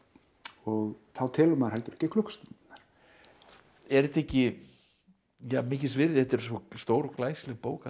og þá telur maður heldur ekki klukkustundirnar er þetta ekki ja mikils virði þetta er svo stórglæsileg bók að